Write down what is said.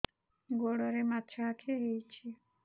ଗୋଡ଼ରେ ମାଛଆଖି ହୋଇଛି